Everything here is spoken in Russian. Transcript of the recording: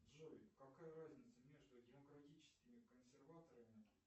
джой какая разница между демократическими консерваторами